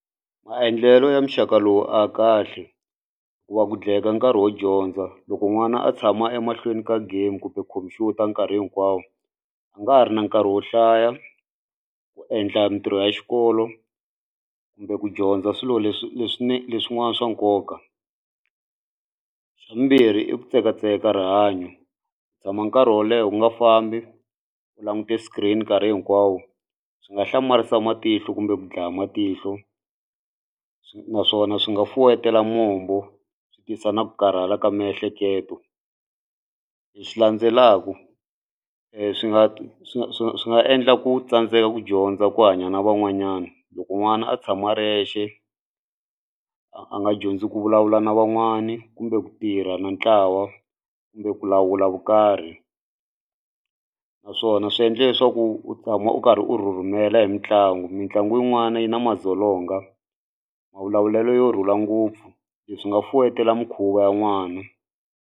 Maendlelo ya muxaka lowu a ya kahle ku va ku nkarhi wo dyondza loko n'wana a tshama emahlweni ka game kumbe khumpyuta nkarhi hinkwawo a nga ha ri na nkarhi wo hlaya ku endla mitirho ya xikolo kumbe ku dyondza swilo leswi leswin'wana swa nkoka. Xa vumbirhi i ku tsekatseka ka rihanyo ku tshama nkarhi wo leha u nga fambi u langute screen nkarhi hinkwawo swi nga hlamarisa matihlo kumbe ku dlaya matihlo naswona swi nga fuwetela mombo swi tisa na ku karhala ka miehleketo. Lexi landzelaka swi nga swi nga endla ku tsandzeka ku dyondza ku hanya na van'wanyana loko n'wana a tshama a ri yexe a nga dyondzi ku vulavula na van'wani kumbe ku tirha na ntlawa kumbe ku lawula vukarhi naswona swi endle leswaku u tshama u karhi u rhurhumela hi mitlangu mitlangu yin'wana yi na madzolonga mavulavulelo yo rhula ngopfu leswi nga fuwetela mikhuva ya n'wana.